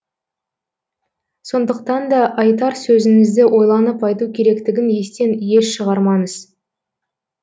сондықтан да айтар сөзіңізді ойланып айту керектігін естен еш шығармаңыз